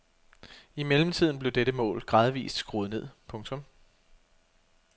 I mellemtiden blev dette mål gradvist skruet ned. punktum